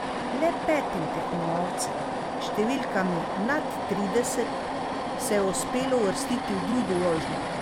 Le petim tekmovalcem s številkami nad trideset se je uspelo uvrstiti v drugo vožnjo.